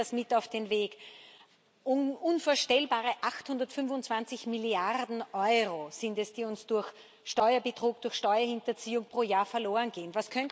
Nehmen Sie das mit auf den Weg Unvorstellbare 825 Milliarden Euro sind es, die uns durch Steuerbetrug, durch Steuerhinterziehung pro Jahr verlorengehen.